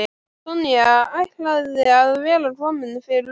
Sonja ætlaði að vera komin fyrir löngu.